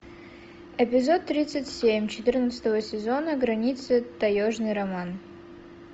эпизод тридцать семь четырнадцатого сезона границы таежный роман